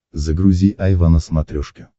загрузи айва на смотрешке